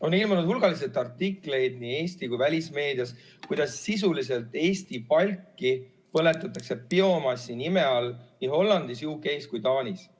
On ilmunud hulgaliselt artikleid nii Eestis kui välismeedias, kuidas sisuliselt Eesti palki põletatakse biomassi nime all nii Hollandis, Ühendkuningriigis kui Taanis.